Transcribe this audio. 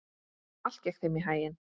Allt gekk þeim í haginn.